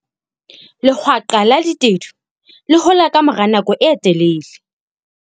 Lehwaqa la ditedu le hola ka mora nako e telele.